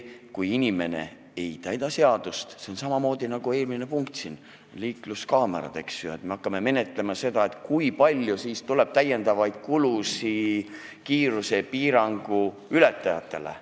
Kui inimene ei täida seadust, siis on samamoodi nagu eelmise punkti puhul, liikluskaamerate puhul: me hakkame menetlema seda, kui palju tekib täiendavaid kulusid kiirusepiirangu ületajatele.